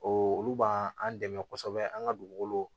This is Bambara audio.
O olu b'an an dɛmɛ kosɛbɛ an ka dugukolo